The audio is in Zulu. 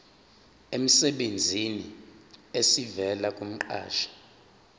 emsebenzini esivela kumqashi